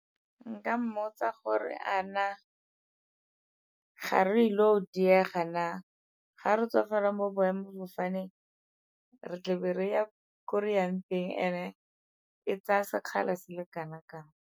Nka mmotsa gore a na ga re ile go diega na, ga re tswa fela mo boemafofaneng re tle be re ya ko re yang teng, and-e e tsaya sekgala se le kana kang.